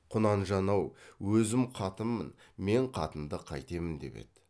құнанжан ау өзім қатынмын мен қатынды қайтемін деп еді